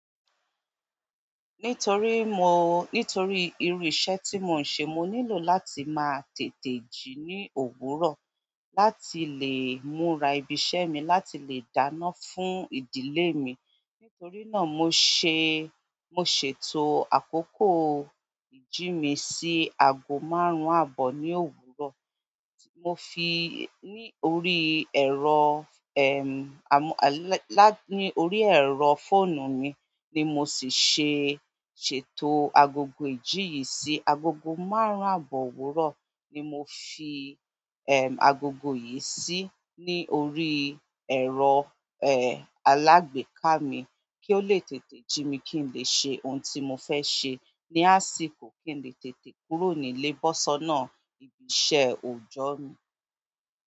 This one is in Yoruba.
Nítorí mo, nítorí irú iṣẹ́ tí mò ń ṣe, mo nílò láti máa tètè jí ní òwúrọ̀ láti lè múra ibi iṣẹ́ mi láti lè dáná fún ìdílé mi. Nítorí náà mo ṣe, mo ṣètò àkókò ìjí mi sí aago márùn-ún àbọ̀ ní òwúrọ̀. Mo fi i ní orí ẹ̀rọ, ẹm, àmú-- lá-- ní orí ẹ̀rọ fóònù mi ni mo sì ṣe ṣètò agogo ìjí yìí sí agogo márùn-ún àbọ̀ òwúrọ̀ ni mo fi, ẹm, agogo yìí sí ní orí ẹ̀rọ, ẹ, alágbèéká mi kí ó lè tètè jí mi kí n lè ṣe ohun tí mo fẹ́ ṣe ní àsìkò kí n lè tètè kúrò nílé bó ṣọ́nà ibi iṣẹ́ òòjọ́ mi.